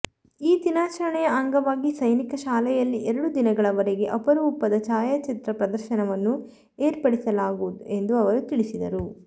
ಈ ದಿನಾಚರಣೆಯ ಅಂಗವಾಗಿ ಸೈನಿಕ ಶಾಲೆಯಲ್ಲಿ ಎರಡು ದಿನಗಳವರೆಗೆ ಅಪರೂಪದ ಛಾಯಾಚಿತ್ರ ಪ್ರದರ್ಶನವನ್ನು ಏರ್ಪಡಿಸಲಾಗುವುದು ಎಂದು ಅವರು ತಿಳಿಸಿದರು